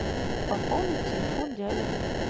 пополнить телефон дяди